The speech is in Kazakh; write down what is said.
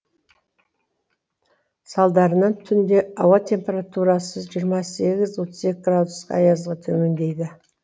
салдарынан түнде ауа температурасы жиырма сегіз отыз екі градус аязға төмендейді